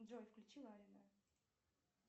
джой включи ларина